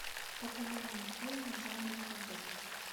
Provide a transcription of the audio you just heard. популярные фильмы жанра фэнтези